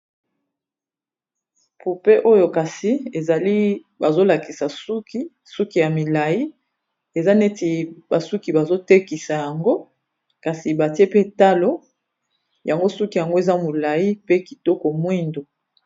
Poupée oyo kasi ezali bazolakisa suki ya milayi eza neti basuki bazotekisa yango kasi batie pe talo yango suki yango eza milayi pe kitoko mwindo.